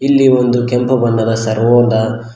ಇಲ್ಲಿ ಒಂದು ಕೆಂಪು ಬಣ್ಣದ ಸರ್ವೊ ದ--